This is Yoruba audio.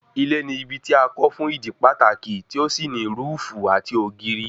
Ilé ni ibi tí a kọ́ fún ìdí pàtàkì tí ó sì ní rúúùfù àti ògiri